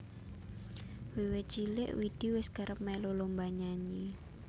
Wiwit cilik Widi wis kerep melu lomba nyanyi